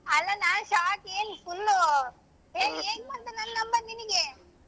ಅಲ್ಲಾ ನಾನ್ shock ಏನ್ full ಏನ್ ಹೆಂಗ್ ಬಂತು ನನ್ನ್ number ನಿನ್ಗೆ.